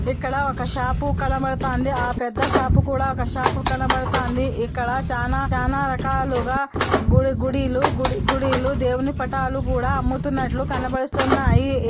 ఇక్కడ ఒక షాపు కనబడుతాంది. ఆ పెద్ద షాపు కూడా ఒక షాపు కనబడుతాంది. ఇక్కడ చానా చానా రకాలుగా గుడి గుడిలు గుడి గుడి లు దేవుని పటాలు కూడా అమ్ముతున్నట్లు కనబడుతున్నాయి.